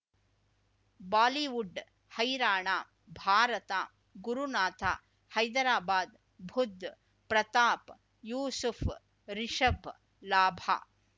Bollywood ಹೈರಾಣ ಭಾರತ ಗುರುನಾಥ ಹೈದರಾಬಾದ್ ಬುಧ್ ಪ್ರತಾಪ್ ಯೂಸುಫ್ ರಿಷಬ್ ಲಾಭ